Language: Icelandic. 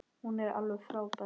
Hún er alveg frábær.